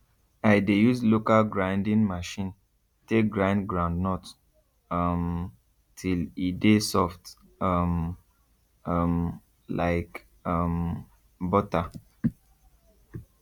i de use local grinding machine take grind groundnut um till e de soft um um like um butter